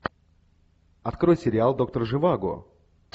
открой сериал доктор живаго